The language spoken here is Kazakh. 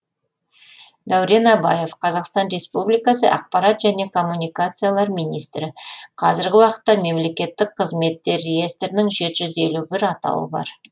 дәурен абаев қазақстан республикасы ақпарат және коммуникациялар министрі қазіргі уақытта мемлекеттік қызметтер реестрінің жеті жүз елі бір атауы бар